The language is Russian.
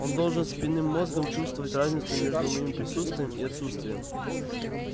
он должен спинным мозгом чувствовать разницу между моими присутствием и отсутствием